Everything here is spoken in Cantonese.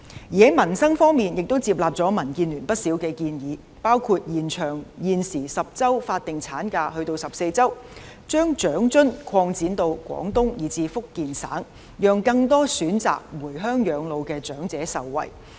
在民生方面亦接納了民建聯不少建議，包括延長現時10周法定產假至14周；把長者生活津貼擴展至廣東及福建省，讓更多選擇回鄉養老的長者受惠。